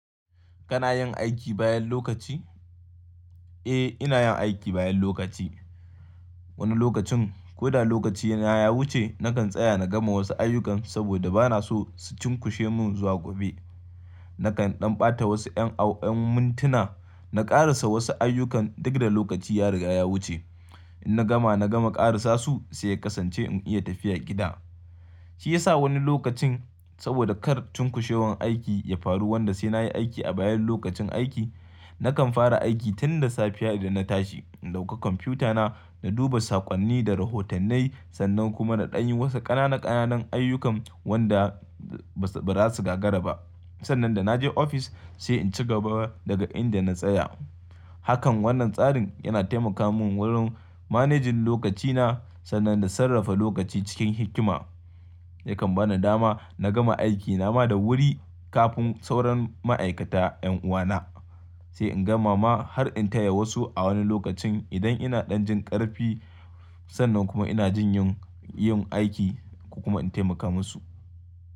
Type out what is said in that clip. Kana yin aiki bayan lokaci? Eh, ina yin aiki bayan lokaci. Wani lokacin ko da lokacina ya wuce nakan tsaya na gama wasu ayyukan saboda ba na so su cunkushe mun zuwa gobe. Nakan ɗan ɓata wasu ƴan mintuna na ƙarasa wasu ayyukan duk da lokaci ya riga ya wuce. In na gama na gama ƙarasa su sai kasance in iya tafiya gida. Shi yasa wani lokacin saboda kar cunkushewar aiki ya faru wanda sai na yi aiki a bayan lokacin aiki, nakan fara aiki tun da safiya idan na tashi. In ɗauka kwamfuta na, na duba saƙonni da rahotannai sannan kuma na ɗan yi wasu ƙananan ƙananan ayyukan wanda ba za su gagara ba. Sannan da na je ofis sai in cigaba daga inda na tsaya. Hakan wannan tsarin yana taimaka mun wurin manejin lokaci na sannan da sarrafa lokaci cikin hikima. Yakan bani dama na gama aiki na ma da wuri kafin sauran ma'aikata ƴan uwa na. Sai in gama ma har in taya wasu a wani lokacin idan ina ɗan jin ƙarfi sannan kuma ina jin yin aiki ko kuma in taimaka musu.